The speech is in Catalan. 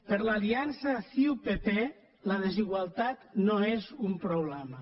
per a l’aliança ciu pp la desigualtat no és un problema